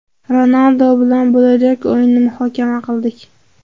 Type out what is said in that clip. Ronaldu bilan bo‘lajak o‘yinni muhokama qildik.